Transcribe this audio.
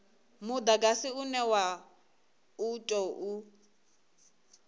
mudagasi une wa u tou